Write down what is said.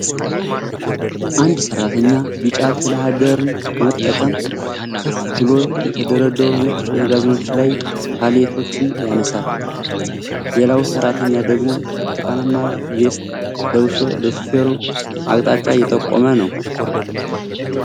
አንድ ሰራተኛ ቢጫ ቴሌሃንድለር በመጠቀም ከፍ ብሎ የተደረደሩ ነጭ መጋዘኖችን ላይ ፓሌቶችን ያነሳል። ሌላው ሰራተኛ ደግሞ ብርቱካናማ ቬስት ለብሶ ለሹፌሩ አቅጣጫ እየጠቆመ ነው።